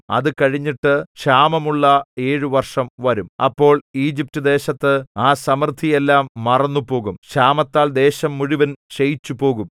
അത് കഴിഞ്ഞിട്ട് ക്ഷാമമുള്ള ഏഴു വർഷം വരും അപ്പോൾ ഈജിപ്റ്റുദേശത്ത് ആ സമൃദ്ധിയെല്ലാം മറന്നുപോകും ക്ഷാമത്താൽ ദേശം മുഴുവൻ ക്ഷയിച്ചുപോകും